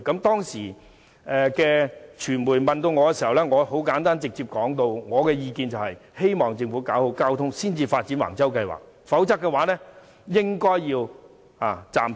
當時傳媒訪問我，我簡單直接地表示，希望政府先搞好交通配套才發展橫洲計劃，否則便應暫停。